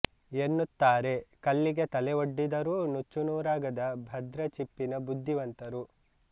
ಎನ್ನುತ್ತಾರೆ ಕಲ್ಲಿಗೆ ತಲೆ ಒಡ್ಡಿದರೂ ನುಚ್ಚು ನೂರಾಗದ ಭದ್ರ ಚಿಪ್ಪಿನ ಬುದ್ಧಿವಂತರು